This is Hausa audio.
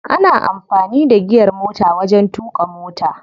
Ana amfani da giyar motar wajen tuƙa mota.